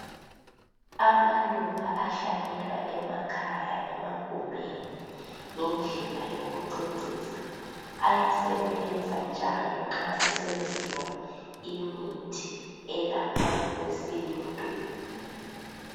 Amaluba ahlanyelwa emakhaya emagumeni ,ngendlela yokucecisa . Ayasebenza njalo nxa kusenziwa imithi elapha ngokwesintu.